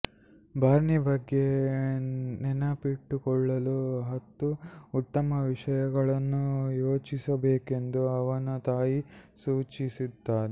ಬಾರ್ನಿ ಬಗ್ಗೆ ನೆನಪಿಟ್ಟುಕೊಳ್ಳಲು ಹತ್ತು ಉತ್ತಮ ವಿಷಯಗಳನ್ನು ಯೋಚಿಸಬೇಕೆಂದು ಅವನ ತಾಯಿ ಸೂಚಿಸುತ್ತಾನೆ